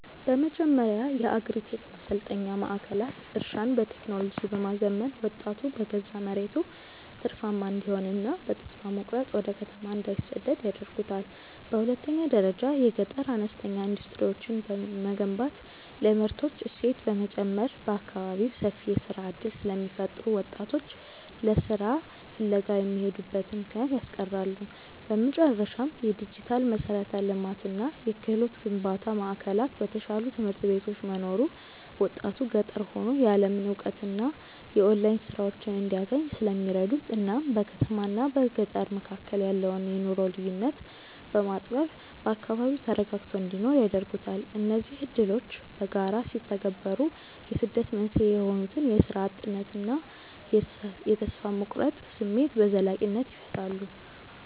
በመጀመሪያ የአግሪ-ቴክ ማሰልጠኛ ማዕከላት እርሻን በቴክኖሎጂ በማዘመን ወጣቱ በገዛ መሬቱ ትርፋማ እንዲሆንና በተስፋ መቁረጥ ወደ ከተማ እንዳይሰደድ ያደርጉታል። በሁለተኛ ደረጃ የገጠር አነስተኛ ኢንዱስትሪዎችን መገንባት ለምርቶች እሴት በመጨመር በአካባቢው ሰፊ የሥራ ዕድል ስለሚፈጥሩ ወጣቶች ለሥራ ፍለጋ የሚሄዱበትን ምክንያት ያስቀራሉ። በመጨረሻም፣ የዲጂታል መሠረተ ልማትና የክህሎት ግንባታ ማዕከላት በተሻሉ ትምህርት ቤቶች መኖሩ ወጣቱ ገጠር ሆኖ የዓለምን እውቀትና የኦንላይን ሥራዎችን እንዲያገኝ ስለሚረዱት እናም በከተማና በገጠር መካከል ያለውን የኑሮ ልዩነት በማጥበብ በአካባቢው ተረጋግቶ እንዲኖር ያደርጉታል። እነዚህ ዕድሎች በጋራ ሲተገበሩ የስደት መንስኤ የሆኑትን የሥራ እጥነትና የተስፋ መቁረጥ ስሜት በዘላቂነት ይፈታሉ።